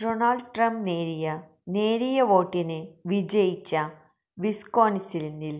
Donald Trump നേരിയ നേരിയ വോട്ടിന് വിജയിച്ച വിസ്കോന്സിനില്